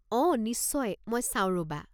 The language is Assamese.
অঁ, নিশ্চয়, মই চাওঁ ৰবা।